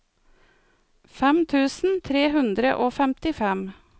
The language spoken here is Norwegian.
fem tusen tre hundre og femtifem